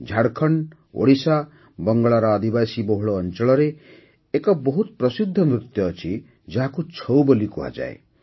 ଝାଡ଼ଖଣ୍ଡ ଓଡ଼ିଶା ବଙ୍ଗଳାର ଆଦିବାସୀବହୁଳ ଅଞ୍ଚଳରେ ଏକ ବହୁତ ପ୍ରସିଦ୍ଧ ନୃତ୍ୟ ଅଛି ଯାହାକୁ ଛଉ ବୋଲି କୁହାଯାଏ